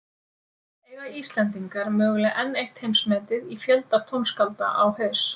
Eiga Íslendingar mögulega enn eitt heimsmetið í fjölda tónskálda á haus?